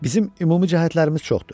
Bizim ümumi cəhətlərimiz çoxdur.